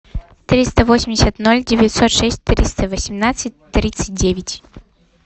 триста восемьдесят ноль девятьсот шесть триста восемнадцать тридцать девять